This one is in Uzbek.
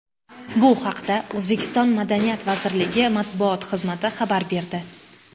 Bu haqda O‘zbekiston madaniyat vazirligi matbuot xizmati xabar berdi .